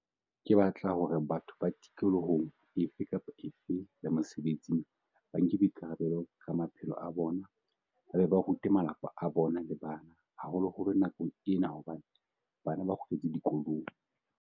Ke batla hore batho ba tikolohong efe kapa efe ya mosebetsing ba nke boikara-belo ka maphelo a bona ba be ba rute ba malapa a bona le bana, haholoholo nakong ena hobane bana ba kgutletse dikolong.